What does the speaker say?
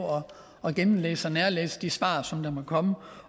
at gennemlæse og nærlæse de svar som der måtte komme